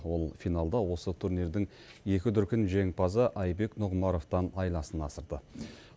ол финалда осы турнирдің екі дүркін жеңімпазы айбек нұғымаровтан айласын асырды